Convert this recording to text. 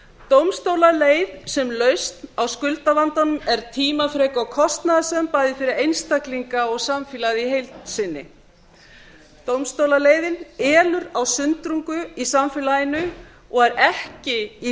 dómstólaleið sem lausn á skuldavandanum er tímafrek og kostnaðarsöm bæði fyrir einstaklinga og samfélagið í heild sinni dómstólaleiðin elur á sundrungu í samfélaginu og ekki í